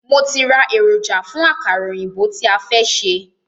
Mo ti rá èròjà fún àkàrà òyìnbó tí a fẹ́ ṣe.